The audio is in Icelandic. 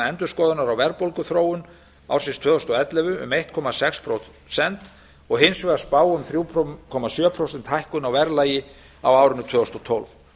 endurskoðunar á verðbólguþróun ársins tvö þúsund og ellefu um einn komma sex prósent og hins vegar spá um þrjú komma sjö prósenta hækkun á verðlagi á árinu tvö þúsund og tólf